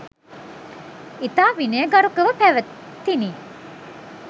ඉතා විනයගරුකව පැවැතිණි.